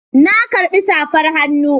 Na karbi safar hannu